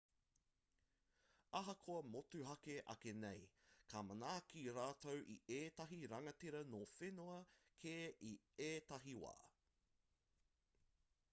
ahakoa motuhake ake nei ka manaaki rātou i ētahi rangatira nō whenua kē i ētahi wā